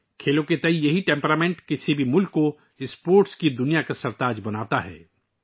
کھیلوں کے تئیں یہی مزاج کسی بھی ملک کو کھیلوں کی دنیا کا بادشاہ بناتا ہے